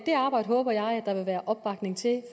det arbejde håber jeg at der vil være opbakning til